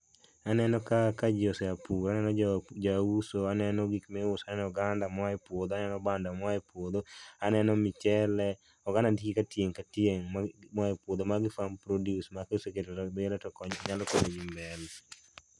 Aneno ka ka jii oseya pur, aneno jauso, aneno gik miuso, aneno oganda moa e puodho, aneno bando moa e puodho aneno michele. Oganda nitie tieng' ka tieng' moa e puodho. Magi farm produce ma oseketo to nyalo konyi mbele